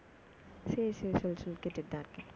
சரி சரி சொல்லு கேட்டுட்டு தான் இருக்கேன்